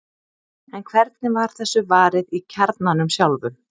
en hvernig var þessu varið í kjarnanum sjálfum